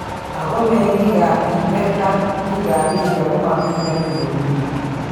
Ako mengiikab Tibet ak biikab India komamiten kwenut nywan